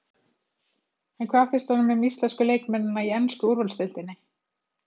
En hvað finnst honum um íslensku leikmennina í ensku úrvalsdeildinni?